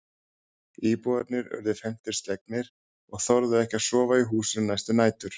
Íbúarnir urðu felmtri slegnir og þorðu ekki að sofa í húsinu næstu nætur.